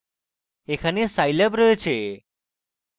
এখানে scilab রয়েছে